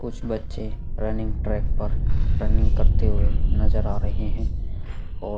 कुछ बच्चे running track पर रनिंग करते हुए नजर आ रहे हैं और --